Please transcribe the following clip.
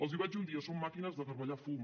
els hi vaig dir un dia són màquines de garbellar fum